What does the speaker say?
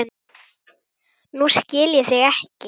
Nú skil ég þig ekki.